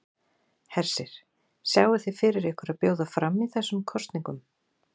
Hersir: Sjáið þið fyrir ykkur að bjóða fram í þessum kosningum?